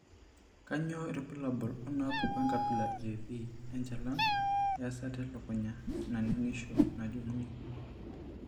Kainyio irbulabul onaapuku enkabila eV enchalan easata elukunya naning'isho najung'uni?